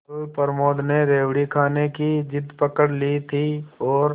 कल प्रमोद ने रेवड़ी खाने की जिद पकड ली थी और